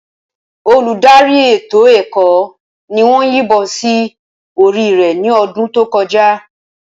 Olùdarí ètò ẹ̀kọ́ ni wọ́n yìnbọn sí orí rẹ̀ ní ọdún tó kọjá.